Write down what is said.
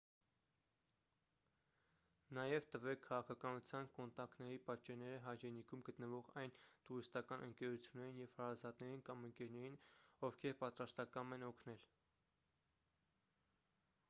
նաև տվե՛ք քաղաքականության/կոնտակների պատճենները հայրենիքում գտնվող այն տուրիստական ընկերություններին և հարազատներին կամ ընկերներին ովքեր պատրաստակամ են օգնել: